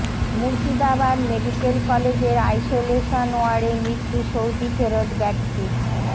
Murshidabad medical কলেজের isolation ওয়ার্ডে মৃত্যু সৌদি ফেরৎ ব্যক্তির